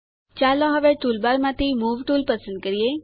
ચાલો હવે ટૂલબાર માંથી મૂવ ટુલ પસંદ કરીએ